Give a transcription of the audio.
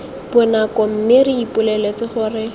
bonako mme re ipoleletse gore